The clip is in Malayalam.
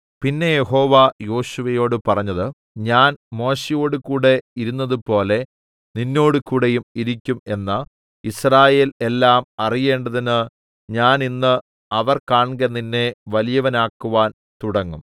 പിന്നെ യഹോവ യോശുവയോട് പറഞ്ഞത് ഞാൻ മോശെയോടുകൂടെ ഇരുന്നതുപോലെ നിന്നോടുകൂടെയും ഇരിക്കും എന്ന് യിസ്രായേൽ എല്ലാം അറിയേണ്ടതിന് ഞാൻ ഇന്ന് അവർ കാൺകെ നിന്നെ വലിയവനാക്കുവാൻ തുടങ്ങും